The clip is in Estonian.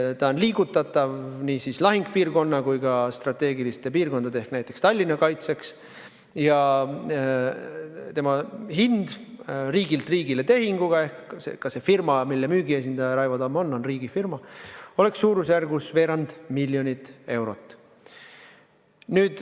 See on liigutatav nii lahingupiirkonna kui ka strateegiliste piirkondade ehk näiteks Tallinna kaitseks ja selle hind riigilt riigile tehinguga – ka see firma, mille müügiesindaja Raivo Tamm on, on riigifirma – oleks suurusjärgus veerand miljonit eurot.